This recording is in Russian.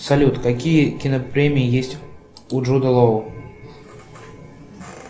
салют какие кинопремии есть у джуда лоу